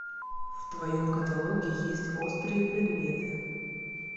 в твоем каталоге есть острые предметы